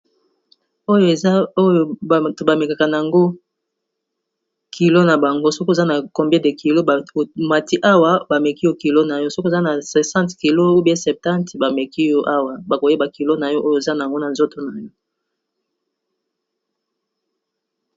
Oyo eza oyo ba mekaka n'ango kilo na bango soki oza na combien de kilo , o mati awa ba meki yo kilo na yo soki oza na 60 kg, ou bien 70, ba meki yo awa bako yeba kilo na yo oyo oza n'ango na nzoto na yo .